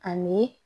Ani